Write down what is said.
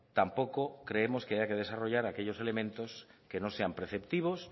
tampoco creemos que haya que desarrollar aquellos elementos que no sean preceptivos